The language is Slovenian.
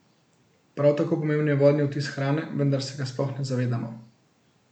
Prav tako pomemben je vodni odtis hrane, vendar se ga sploh ne zavedamo.